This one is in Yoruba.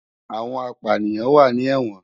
Awòn àpániyán wá ni èwòn